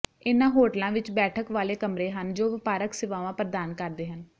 ਇਨ੍ਹਾਂ ਹੋਟਲਾਂ ਵਿਚ ਬੈਠਕ ਵਾਲੇ ਕਮਰੇ ਹਨ ਜੋ ਵਪਾਰਕ ਸੇਵਾਵਾਂ ਪ੍ਰਦਾਨ ਕਰਦੇ ਹਨ